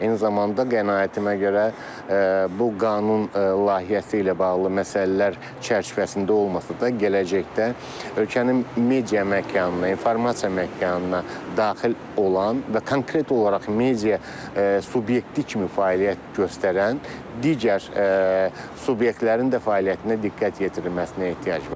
Eyni zamanda qənaətimə görə bu qanun layihəsi ilə bağlı məsələlər çərçivəsində olmasa da gələcəkdə ölkənin media məkanında, informasiya məkanına daxil olan və konkret olaraq media subyekti kimi fəaliyyət göstərən digər subyektlərin də fəaliyyətinə diqqət yetirilməsinə ehtiyac var.